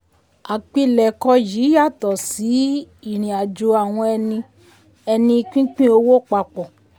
àpilẹ̀kọ yìí yàtọ̀ sí ìrìn àjò àwọn ẹni ẹni pínpín owó papọ̀.